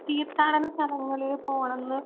തീർത്ഥാടന സമയങ്ങളിൽ പോണന്ന്